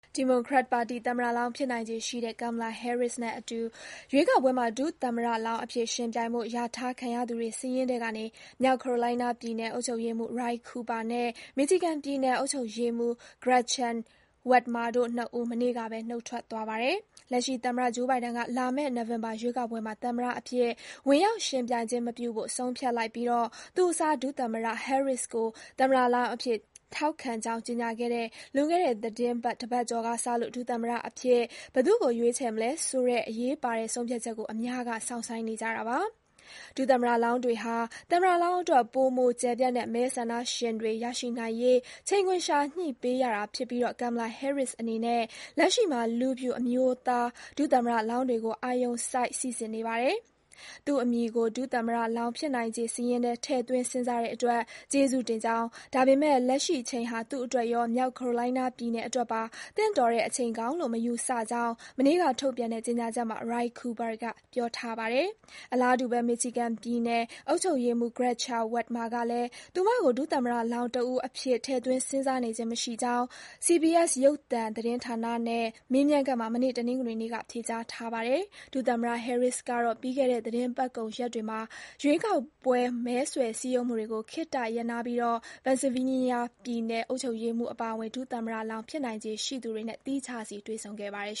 ဒီမိုကရက်ပါတီသမ္မတလောင်း ဖြစ်နိုင်ခြေရှိတဲ့ Kamala Harris နဲ့အတူ ရွေးကောက်ပွဲမှာ ဒုသမ္မတလောင်းအဖြစ် ယှဉ်ပြိုင်ဖို့ လျာထားခံရသူတွေ စာရင်းထဲကနေ မြောက်ကယ်ရိုလိုင်းနားပြည်နယ် အုပ်ချုပ်ရေးမှူး Roy Cooper နဲ့ Michigan ပြည်နယ် အုပ်ချုပ်ရေးမှူး Gretchen Whitmer တို့၂ ဦး မနေ့ကပဲ နုတ်ထွက်သွားပါတယ်။ လက်ရှိသမ္မတ Joe Biden က လာမယ့် နိုဝင်ဘာရွေးကောက်ပွဲမှာ သမ္မတအဖြစ် ဝင်ရောက် ယှဉ်ပြိုင်ခြင်းမပြုဖို့ ဆုံးဖြတ်လိုက်ပြီး သူ့အစား ဒုသမ္မတ Harris ကို သမ္မတလောင်းအဖြစ် ထောက်ခံကြောင်း ကြေညာခဲ့တဲ့ လွန်ခဲ့တဲ့ သီတင်းပတ် တပတ်ကျော်ကစလို့ ဒုသမ္မတအဖြစ် ဘယ်သူ့ကို ရွေးချယ်မလဲဆိုတဲ့ အရေးပါတဲ့ ဆုံးဖြတ်ချက်ကို အများက စောင့်ဆိုင်းနေကြတာပါ။ ဒုသမ္မတလောင်းတွေဟာ သမ္မတလောင်းအတွက် ပိုမို ကျယ်ပြန့်တဲ့ မဲဆန္ဒရှင်တွေ ရရှိနိုင်ရေး ချိန်ခွင်လျှာ ညှိပေးရတာဖြစ်ပြီး Kamala Harris အနေနဲ့ လက်ရှိမှာ လူဖြူ အမျိုးသား ဒုသမ္မတလောင်းတွေကို အာရုံစိုက် စိစစ်နေပါတယ်။ သူ့အမည်ကို ဒုသမ္မတလောင်းဖြစ်နိုင်ခြေစာရင်းထဲ ထည့်သွင်း စဉ်းစားတဲ့အတွက် ကျေးဇူးတင်ကြောင်း၊ ဒါပေမယ့် လက်ရှိအချိန်ဟာ သူ့အတွက်ရော၊ မြောက် Carolina ပြည်နယ်အတွက်ပါ သင့်တော်တဲ့အချိန်ကောင်းလို့ မယူဆကြောင်း မနေ့က ထုတ်ပြန်တဲ့ ကြေညာချက်မှာ Roy Cooper က ပြောထားပါတယ်။ အလားတူဘဲ Michigan ပြည်နယ် အုပ်ချုပ်ရေးမှူး Gretchen Whitmar ကလည်း သူမကို ဒုသမ္မတလောင်းတဦးအဖြစ် ထည့်သွင်း စဉ်းစားနေခြင်း မရှိကြောင်း CBS ရုပ်သံသတင်းဌာနနဲ့ မေးမြန်းခန်းမှာ မနေ့ တနင်္ဂနွေနေ့က ဖြေကြားထားပါတယ်။ ဒုသမ္မတ Harris ကတော့ ပြီးခဲ့တဲ့ သီတင်းပတ်ကုန်ရက်တွေမှာ ရွေးကာက်ပွဲ မဲဆွယ် စည်းရုံးမှုတွေကို ခေတ္တရပ်နားပြီး Pennsylvania ပြည်နယ် အုပ်ချုပ်ရေးမှူး Josh Shapiro အပါအဝင် ဒုသမ္မတလောင်း ဖြစ်နိုင်ခြေရှိသူတွေနဲ့ သီးခြားစီ တွေ့ဆုံခဲ့ပါတယ်